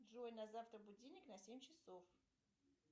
джой на завтра будильник на семь часов